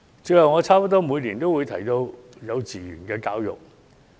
最後，我差不多每年都會提到幼稚園教育。